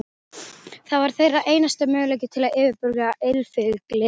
Það var þeirra einasti möguleiki til að yfirbuga illfyglið.